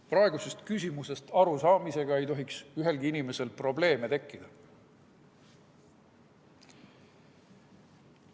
Praegusest küsimusest arusaamisega ei tohiks ühelgi inimesel probleeme tekkida.